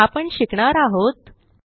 आपण शिकणार आहोत 4